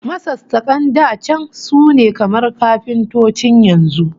Masassakan da can sune kamar kafintocin yanzu